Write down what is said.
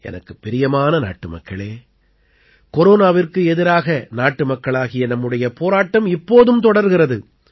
எனக்குப் பிரியமான நாட்டுமக்களே கொரோனாவிற்கு எதிராக நாட்டுமக்களாகிய நம்முடைய போராட்டம் இப்போதும் தொடர்கிறது